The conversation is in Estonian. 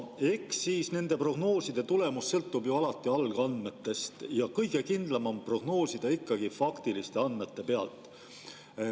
Eks nende prognooside tulemus sõltub ju alati algandmetest ja kõige kindlam on prognoosida ikkagi faktiliste andmete pealt.